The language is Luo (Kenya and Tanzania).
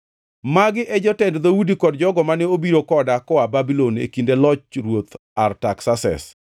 Magi e jotend dhoudi kod jogo mane obiro koda koa Babulon e kinde loch Ruoth Artaksases: